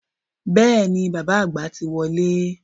Bẹ́ẹ̀ni, bàbá àgbà ti wọlé